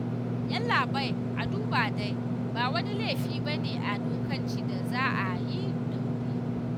Yallaɓai a duba dai ba wani laifi ba ne a dokance da za a yi ɗauri